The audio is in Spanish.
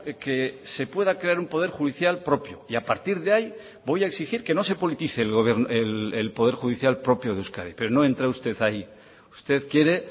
que se pueda crear un poder judicial propio y a partir de ahí voy a exigir que no se politice el poder judicial propio de euskadi pero no entra usted ahí usted quiere